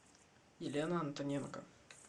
елена антоненко